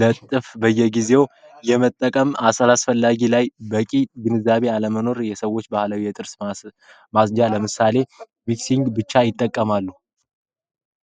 ለጥፍ በየጊዜው የመጠቀም አሰላ አስፈላጊ ላይ በቂ ግንዛቤ አለመኖር የሰዎች ባህላዊ የጥርስ ማፅጃ ለምሳሌ ሊፕሲንግ ብቻ ይጠቀማሉ።